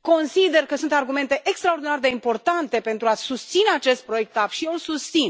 consider că sunt argumente extraordinar de importante pentru a susține acest proiect TAP și eu îl susțin.